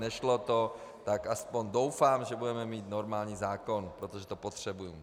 Nešlo to, tak aspoň doufám, že budeme mít normální zákon, protože to potřebujeme.